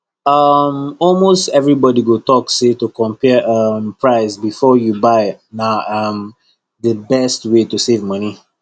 um almost everybody go talk say to compare um price before you buy na um the best way to save money